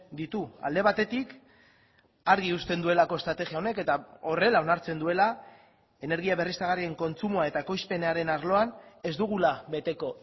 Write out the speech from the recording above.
ditu alde batetik argi uzten duelako estrategia honek eta horrela onartzen duela energia berriztagarrien kontsumoa eta ekoizpenaren arloan ez dugula beteko